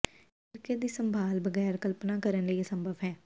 ਇਹ ਸਿਰਕੇ ਦੀ ਸੰਭਾਲ ਬਗੈਰ ਕਲਪਨਾ ਕਰਨ ਲਈ ਅਸੰਭਵ ਹੈ